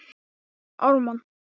Hver verða mestu vonbrigðin?